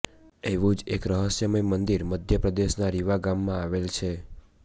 એવું જ એક રહસ્યમય મંદિર મધ્યપ્રદેશ ના રિવા ગામમાં આવેલ છે